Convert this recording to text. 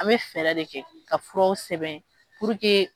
An bɛ fɛɛrɛ de kɛ ka furaw sɛbɛn